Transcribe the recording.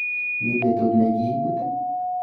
Mi betut ne kiibut?